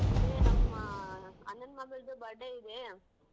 ಏ ನಮ್ಮ ಅಣ್ಣನ್ ಮಗಳ್ದು birthday ಇದೆ.